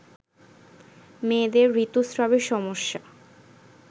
মেয়েদের ঋতুস্রাবে সমস্যা